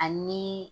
Ani